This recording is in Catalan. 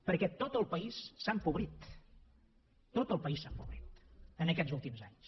perquè tot el país s’ha empobrit tot el país s’ha empobrit en aquests últims anys